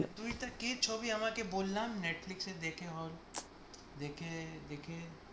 তুই কে ছবি বললাম netflix দেখে দেখে